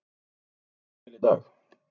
Mér leið mjög vel í dag.